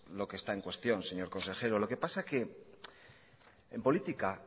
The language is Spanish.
lo que está en cuestión señor consejero lo que pasa que en política